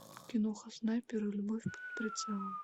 киноха снайпер и любовь под прицелом